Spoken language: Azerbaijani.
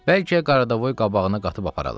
Bəlkə Qaradaboy qabağına qatıb aparalar.